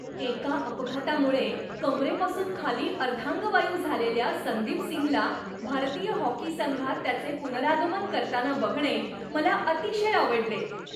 एका अपघातामुळे कंबरेपासून खाली अर्धांगवायू झालेल्या संदीप सिंगला भारतीय हॉकी संघात त्याचे पुनरागमन करताना बघणे मला अतिशय आवडले.